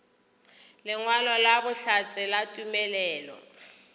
lengwalo la bohlatse la tumelelo